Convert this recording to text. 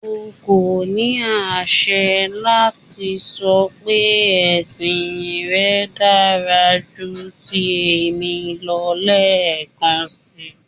O ko ni aṣẹ lati sọ pe ẹsin rẹ dara ju ti emi lọ lẹẹkansi